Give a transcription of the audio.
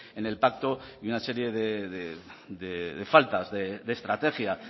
en el pacto y una serie de faltas de estrategia